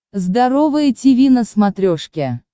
здоровое тиви на смотрешке